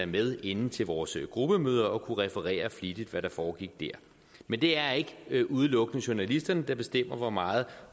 med inde til vores gruppemøder og kunne referere flittigt hvad der foregik der men det er ikke udelukkende journalisterne der bestemmer hvor meget